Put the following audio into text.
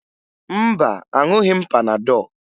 Mba, aṅụghị m panadọ